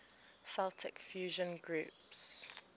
celtic fusion groups